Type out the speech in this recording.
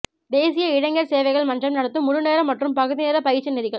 தேசிய இளைஞர் சேவைகள் மன்றம் நடத்தும் முழு நேர மற்றும் பகுதி நேர பயிற்சி நெறிகள்